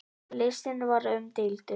Listinn var umdeildur.